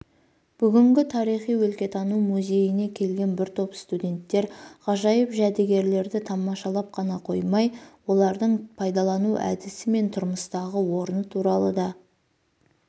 бүгін тарихи өлкетану музейіне келген бір топ студенттер ғажайып жәдігерлерді тамашалап қана қоймай олардың пайдалану әдісі мен тұрмыстағы орны туралы да